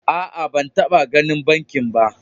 A'a, ba taba ganin banki ba.